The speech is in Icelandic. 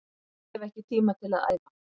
Ég hef ekki tíma til að æfa